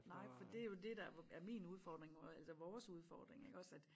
Nej for det jo dét der er min udfordring nu altså vores udfordring iggås at